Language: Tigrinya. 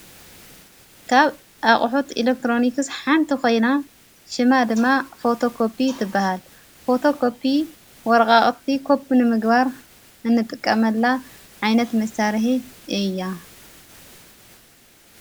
ካብ ኣቕሑት ኤለክጥሮኒክስ ሓንቲ ኾይና ሽማ ድማ ፈቶቆፑ ትበሃል ፈቶቆፑ ወርቓቕቲ ቆጵ ኒምግባር እንጥቀመላ ዓይነት መሣርሕ እያ::